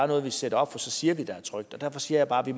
noget vi sætter op og så siger vi der er trygt derfor siger jeg bare at vi